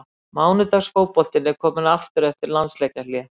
Mánudags fótboltinn er kominn aftur eftir landsleikjahlé.